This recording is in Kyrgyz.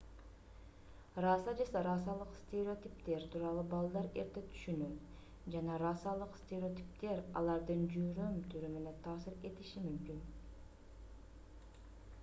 раса же расалык стереотиптер тууралуу балдар эрте түшүнөт жана расалык стереотиптер алардын жүрүм-турумуна таасир этиши мүмкүн